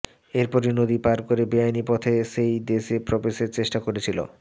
এরপরই নদী পার করে বেআইনি পথে সেই দেশে প্রবেশের চেষ্টা করেছিল